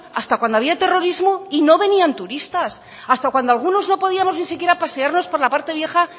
hasta cuando había terrorismo y no venían turistas hasta cuando algunos no podíamos ni siquiera pasearnos por la parte vieja